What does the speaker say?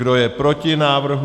Kdo je proti návrhu?